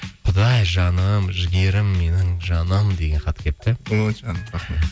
құдай жаным жігерім менің жаным деген хат келіпті ой жаным рахмет